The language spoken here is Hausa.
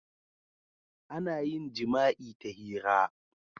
Ana yin jima'i ta hira.